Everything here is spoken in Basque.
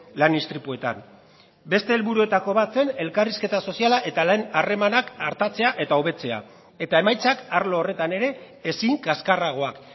lan istripuetan beste helburuetako bat zen elkarrizketa soziala eta lan harremanak artatzea eta hobetzea eta emaitzak arlo horretan ere ezin kaskarragoak